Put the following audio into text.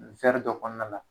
dɔ kɔnɔna la.